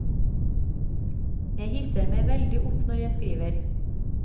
Jeg hisser meg veldig opp når jeg skriver.